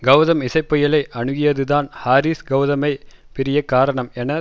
கௌதம் இசைப்புயலை அணுகியதுதான் ஹாரிஸ் கௌதமை பிரிய காரணம் என